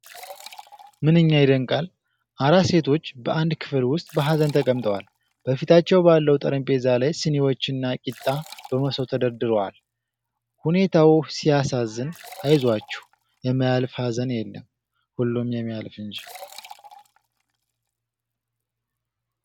"ምንኛ ይደንቃል!" አራት ሴቶች በአንድ ክፍል ውስጥ በሀዘን ተቀምጠዋል። በፊታቸው ባለው ጠረጴዛ ላይ ስኒዎችና ቂጣ በመሶብ ተደርድሯል። ሁኔታው "ሲያሳዝን"፣ "አይዞአችሁ!" የማያልፍ ሀዘን የለም!። ሁሉም የሚያልፍ እንጂ!